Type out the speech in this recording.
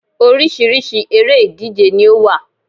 Orísirísi eré ìdíje ni ó wà